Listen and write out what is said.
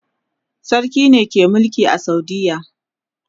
sarki ne ke Mulki a saudiya